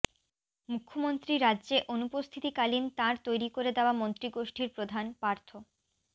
মুখ্যমন্ত্রী রাজ্যে অনুপস্থিতি কালীন তাঁর তৈরি করে দেওয়া মন্ত্রিগোষ্ঠীর প্রধান পার্থ